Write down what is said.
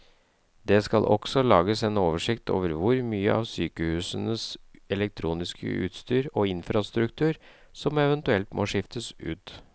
Det skal også lages en oversikt over hvor mye av sykehusenes elektroniske utstyr og infrastruktur som eventuelt må skiftes ut.